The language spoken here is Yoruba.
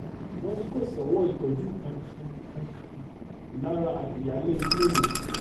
wọ́n ní kó sọ́wọ́ ìtọ́jú kankan kankan lára ìyáálé ilé ọ̀hún